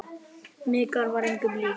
Mikka var engum lík.